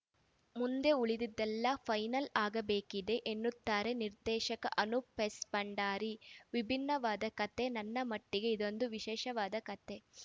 ಮುಂದೆ ಉಳಿದಿದ್ದೆಲ್ಲ ಫೈನಲ್‌ ಆಗಬೇಕಿದೆ ಎನ್ನುತ್ತಾರೆ ನಿರ್ದೇಶಕ ಅನೂಪ್‌ ಎಸ್‌ ಭಂಡಾರಿ ವಿಭಿನ್ನವಾದ ಕತೆ ನನ್ನ ಮಟ್ಟಿಗೆ ಇದೊಂದು ವಿಶೇಷವಾದ ಕತೆ